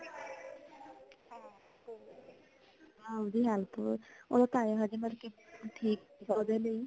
ਹਾਂਜੀ ਉਹ ਤਾ ਹੈ ਮਤਲਬ ਸੀ ਠੀਕ ਸੀਗਾ ਓਹਦੇ ਲਈ